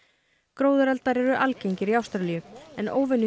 gróðureldar eru algengir í Ástralíu en